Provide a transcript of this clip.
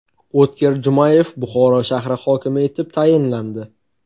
O‘tkir Jumayev Buxoro shahri hokimi etib tayinlandi.